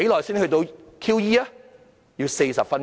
主席，需要40分鐘。